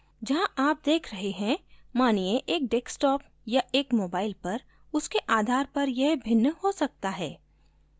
जहाँ आप देख रहे हैं मानिये एक desktop या एक mobile पर उसके आधार पर यह भिन्न हो सकता है